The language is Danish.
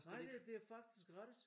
Nej det det er faktisk gratis